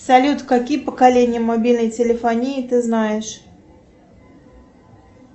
салют какие поколения мобильной телефонии ты знаешь